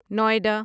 Noida